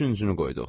Üçüncünü qoyduq.